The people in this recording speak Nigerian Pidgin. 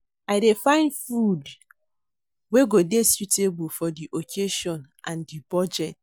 I dey find food wey go dey suitable for di occasion and di budget.